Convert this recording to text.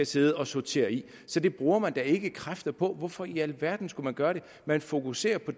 sidde og sortere i så det bruger man da ikke kræfter på hvorfor i alverden skulle man gøre det man fokuserer på